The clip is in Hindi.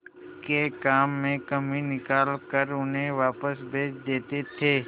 के काम में कमी निकाल कर उन्हें वापस भेज देते थे